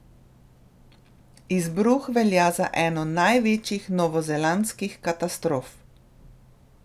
Izbruh velja za eno največjih novozelandskih katastrof.